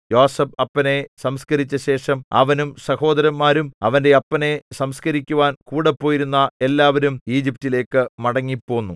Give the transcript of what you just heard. യോസേഫ് അപ്പനെ സംസ്കരിച്ചശേഷം അവനും സഹോദരന്മാരും അവന്റെ അപ്പനെ സംസ്കരിക്കുവാൻ കൂടെ പോയിരുന്ന എല്ലാവരും ഈജിപ്റ്റിലേക്ക് മടങ്ങിപ്പോന്നു